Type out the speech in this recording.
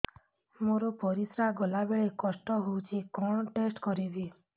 ମୋର ପରିସ୍ରା ଗଲାବେଳେ କଷ୍ଟ ହଉଚି କଣ ଟେଷ୍ଟ କରିବି